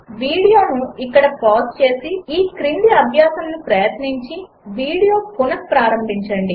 వీడియోను ఇక్కడ పాజ్ చేసి ఈ క్రింది అభ్యాసమును ప్రయత్నించి వీడియో పునఃప్రారంభించండి